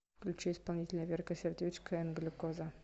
включи исполнителя верка сердючка энд глюкоза